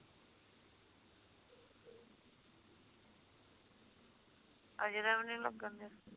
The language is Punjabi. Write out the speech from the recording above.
ਅਜੇ ਦਾ ਵੀ ਨਹੀਂ ਲੱਗਣ ਦਿਆ